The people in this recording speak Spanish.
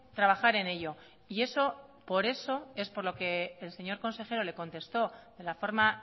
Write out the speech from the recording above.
trabajar en ello y eso por eso es por lo que el señor consejero le contestó de la forma